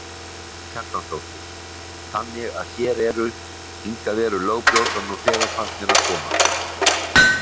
Karen Kjartansdóttir: Þannig að hér eru, hingað eru lögbrjótar nú þegar farnir að koma?